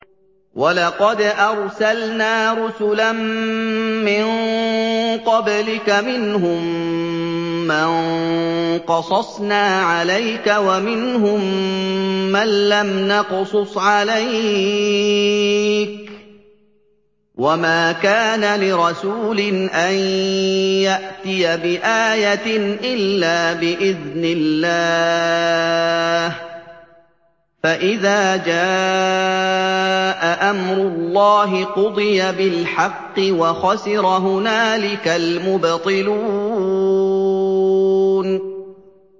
وَلَقَدْ أَرْسَلْنَا رُسُلًا مِّن قَبْلِكَ مِنْهُم مَّن قَصَصْنَا عَلَيْكَ وَمِنْهُم مَّن لَّمْ نَقْصُصْ عَلَيْكَ ۗ وَمَا كَانَ لِرَسُولٍ أَن يَأْتِيَ بِآيَةٍ إِلَّا بِإِذْنِ اللَّهِ ۚ فَإِذَا جَاءَ أَمْرُ اللَّهِ قُضِيَ بِالْحَقِّ وَخَسِرَ هُنَالِكَ الْمُبْطِلُونَ